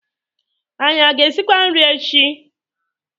Anyị a ga-esikwa nri echi?